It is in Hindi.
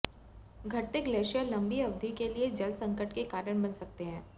घटते ग्लेशियर लंबी अवधि के लिए जल संकट के कारण बन सकते हैं